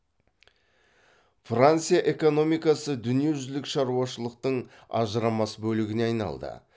франция экономикасы дүниежүзілік шаруашылықтың ажырамас бөлігіне айналды